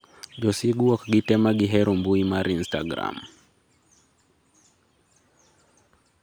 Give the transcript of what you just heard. josigu ok gite magihero mbui mar instragram.